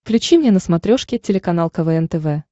включи мне на смотрешке телеканал квн тв